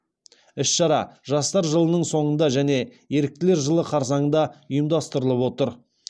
іс шара жастар жылының соңында және еріктілер жылы қарсаңында ұйымдастырылып отыр